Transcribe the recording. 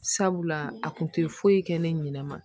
Sabula a kun tɛ foyi kɛ ne ɲɛna